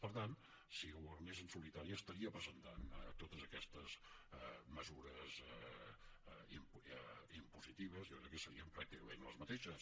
per tant si governés en solitari presentaria totes aquestes mesures impositives jo crec que serien pràcticament les mateixes